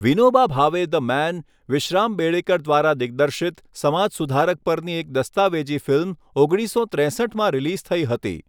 Vinoba Bhave, the man, Vishram Bedekar દ્વારા દિગ્દર્શિત સમાજ સુધારક પરની એક દસ્તાવેજી ફિલ્મ ઓગણીસસો ત્રેસઠ રિલીઝ થઈ હતી.